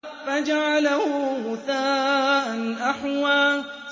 فَجَعَلَهُ غُثَاءً أَحْوَىٰ